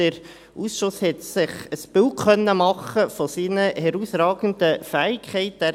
Der Ausschuss hat sich ein Bild seiner herausragenden Fähigkeiten machen können.